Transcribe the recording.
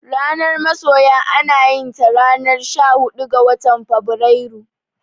Ranar masoya anayinta ranar shahuɗu ga watan Febrairu.